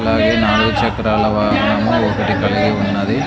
అలాగే నాలుగు చక్రాల వాహనము ఒకటి కలిగి ఉన్నది.